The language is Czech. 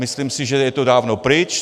Myslím si, že je to dávno pryč.